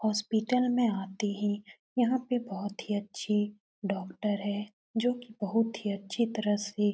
hospital में आते है यहाँ पे बहुत ही अच्छे डॉक्टर है जोकि बहुत ही अच्छे तरह से --